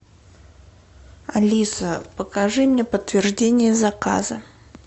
алиса покажи мне подтверждение заказа